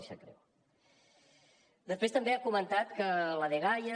després també ha comentat que a la dgaia